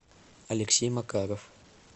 алексей макаров